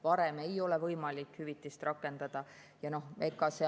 Varem ei ole võimalik hüvitist rakendada.